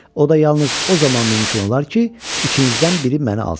O da yalnız o zaman mümkün olar ki, içinizdən biri məni alsın."